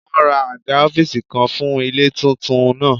Wọ́n ra àga ọ́fíìsì kan fún ilé tuntun náà